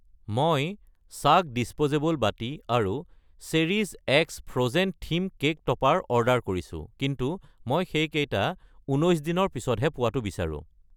মই চাক্‌ ডিচপ'জেবল বাটি আৰু চেৰিছ X Frozen theme cake topper order কৰিছোঁ, কিন্তু মই সেইকেইটা 19 দিন ৰ পিছতহে পোৱাটো বিচাৰোঁ।